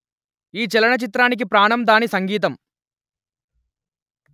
ఈ చలనచిత్రానికి ప్రాణం దాని సంగీతం